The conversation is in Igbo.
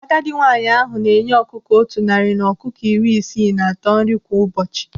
Agadi nwaanyị ahụ na-enye ọkụkọ otu narị na ọkụkọ iri isii na atọ nri kwa ụbọchị.